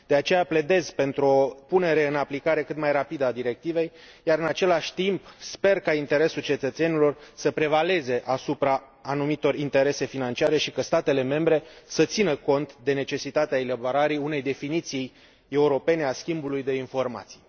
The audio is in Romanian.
De aceea, pledez pentru o punere în aplicare cât mai rapidă a directivei iar, în același timp, sper ca interesul cetățenilor să prevaleze asupra anumitor interese financiare și ca statele membre să țină cont de necesitatea elaborării unei definiții europene a schimbului de informații.